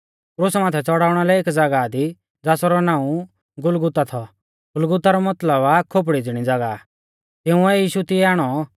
क्रुसा माथै च़ड़ाउणा लै एक ज़ागाह थी ज़ासरौ नाऊं गुलगुता थौ गुलगुता रौ मतलब आ खोपड़ी ज़िणी ज़ागाह तिंउऐ यीशु तिऐ आणौ